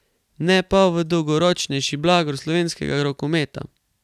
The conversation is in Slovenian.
Ne pa v dolgoročnejši blagor slovenskega rokometa.